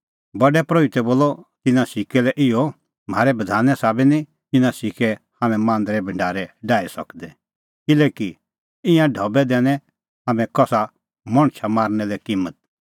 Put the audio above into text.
प्रधान परोहितै बोलअ तिन्नां सिक्कै लै इहअ म्हारै बधाने साबै निं इना सिक्कै हाम्हैं मांदरे भढारै डाही सकदै किल्हैकि ईंयां ढबै दैनै तै हाम्हैं कसा मणछा मारना लै किम्मत